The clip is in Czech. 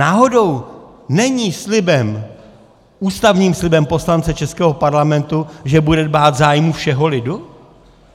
Náhodou není slibem, ústavním slibem poslance českého Parlamentu, že bude dbát zájmu všeho lidu?